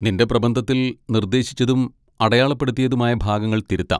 നിന്റെ പ്രബന്ധത്തിൽ നിർദ്ദേശിച്ചതും അടയാളപ്പെടുത്തിയതുമായ ഭാഗങ്ങൾ തിരുത്താം.